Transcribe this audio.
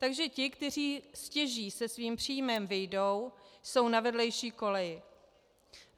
Takže ti, kteří stěží se svým příjmem vyjdou, jsou na vedlejší koleji.